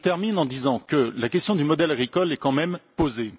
Je termine en disant que la question du modèle agricole est quand même posée.